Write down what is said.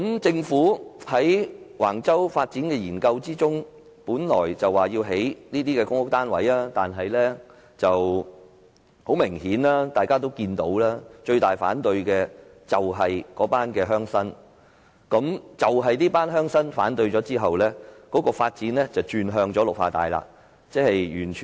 政府在橫洲發展的研究中，本來說要興建 17,000 個公屋單位，但很明顯，最大的反對者是鄉紳，鄉紳提出反對，政府便轉而動用綠化地。